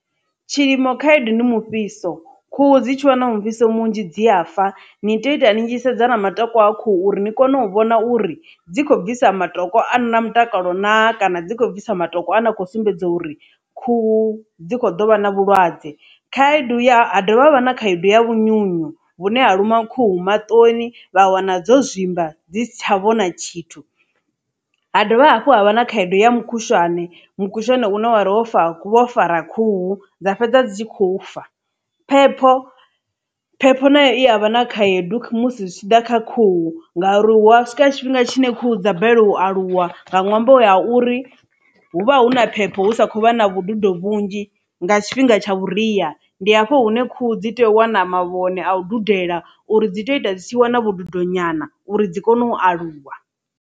Tshilimo khaedu ndi mufhiso khuhu dzi tshi wana mufhiso munzhi dzi a fa ni tea u ita ni tshi sedza na matoko a khuhu uri ni kone u vhona uri dzi khou bvisa matombo a rena mutakalo na kana dzi khou bvisa matombo a na kho sumbedza uri khuhu dzi kho ḓo vha na vhulwadze. Khaedu ya dovha ha vha na khaedu ya vhunyunyu vhune ha luma khuhu maṱoni vha wana dzo zwimba dzi sitsha vhona tshithu ha dovha hafhu ha vha na khaedu ya mukhushwane mukhushwane une wari wo fara khuhu dza fhedza dzi khou fa phepho phepho nayo i a vha na khaedu musi zwi tshi ḓa kha khuhu nga uri hu swika tshifhinga tshine khuhu dza balelwa u aluwa nga ṅwambo ya uri hu vha hu na phepho hu sa kho vha na vhududo vhunzhi nga tshifhinga tsha vhuria ndi hafho hune khuhu dzi tea u wana mavhone a u dudela uri dzi tea u ita dzi tshi wana vhududo nyana uri dzi kone u aluwa.